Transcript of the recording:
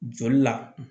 Joli la